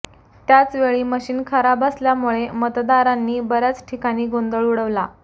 त्याचवेळी मशीन खराब असल्यामुळे मतदारांनी बर्याच ठिकाणी गोंधळ उडवला